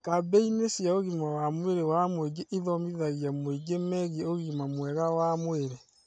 Kambĩini cia ũgima wa mwĩri wa mũingĩ ithomithagia mũingĩ megiĩ ũgima mwega wa mwĩrĩ